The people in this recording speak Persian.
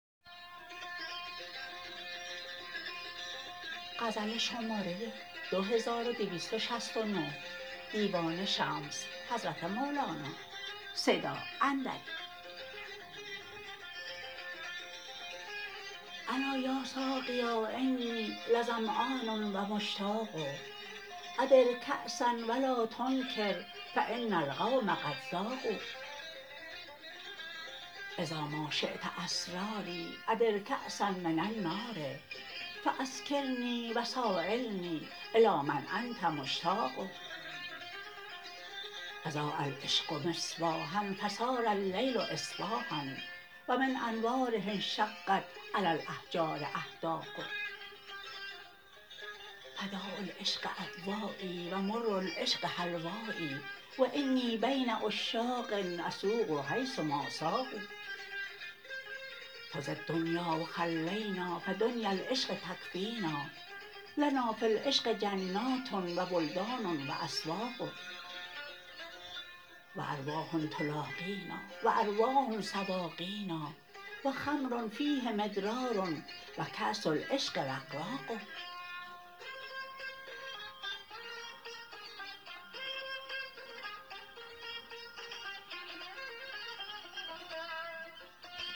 الا یا ساقیا انی لظمن و مشتاق ادر کأسا و لا تنکر فان القوم قد ذاقوا اذا ما شیت اسراری ادر کأسا من النار فاسکرنی و سایلنی الی من انت مشتاق اضاء العشق مصباحا فصار اللیل اصباحا و من انواره انشقت علی الاحجار احداق فداء العشق ادوایی و مر العشق حلوایی و انی بین عشاق اسوق حیث ما ساقوا خذ الدنیا و خلینا فدنیا العشق تکفینا لنا فی العشق جنات و بلدان و اسواق و ارواح تلاقینا و ارواح سواقینا و خمر فیه مدرار و کأس العشق رقراق